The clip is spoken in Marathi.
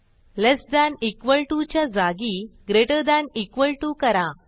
लेस थान इक्वॉल टीओ च्या जागी ग्रेटर थान इक्वॉल टीओ करा